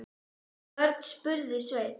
Hvern, spurði Sveinn.